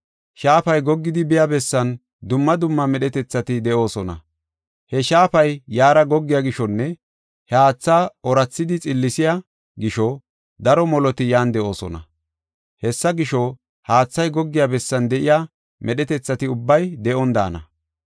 Shaafay goggidi biya bessan dumma dumma medhetethati de7oosona. He shaafay yaara goggiya gishonne he haatha oorathidi xillisiya gisho daro moloti yan de7oosona. Hessa gisho haathay goggiya bessan de7iya medhetethati ubbay de7on daana.